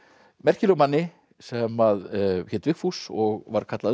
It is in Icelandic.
merkilegum manni sem hét Vigfús og var kallaður